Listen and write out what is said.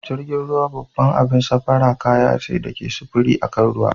Jirgin ruwa babbar abun safara kaya ce ta sufuri akan ruwa.